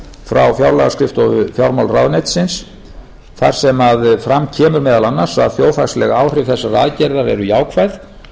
frá fjárlagaskrifstofu fjármálaráðuneytisins þar sem fram kemur meðal annars að þjóðhagsleg áhrif þessarar aðgerðar eru jákvæð og